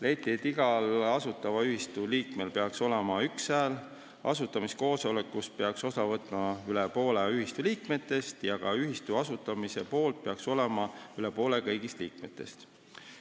Leiti, et igal asutatava ühistu liikmel peaks olema üks hääl, asutamiskoosolekust peaks osa võtma üle poole ühistu liikmetest ja ka ühistu asutamise poolt peaks olema üle poole kõigist liikmetest.